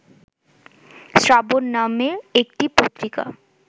শ্রাবণ নামে একটি পত্রিকা